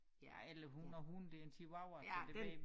Ja eller hund og hund det en chihuahua så det det